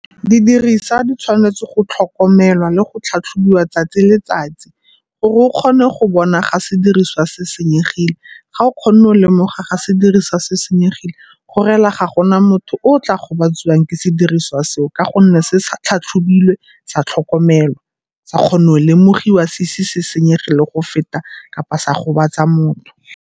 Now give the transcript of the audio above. Didirisa di tshwanetse go tlhokomelwa le go tlhatlhobiwa 'tsatsi le letsatsi gore o kgone go bona ga sediriswa se senyegile. Ga o kgona go lemoga ga sediriswa se senyegile go rela ga gona motho o o tla gobatsiwang ke sediriswa seo ka gonne se se tlhatlhobilwe, sa tlhokomelwa, sa kgona go lemogiwa se ise se senyege le go feta kapa sa gobatsa motho.